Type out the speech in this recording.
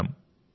నమస్కారం